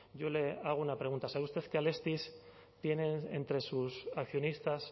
yo le hago una pregunta sabe usted que alestis tiene entre sus accionistas